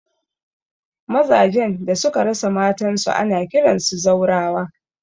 Maza jan da suka rasa matan su ana kiransu zaurawa